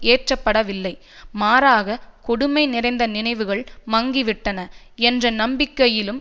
ஏற்றபடவில்லை மாறாக கொடுமை நிறைந்த நினைவுகள் மங்கிவிட்டன என்ற நம்பிக்கையிலும்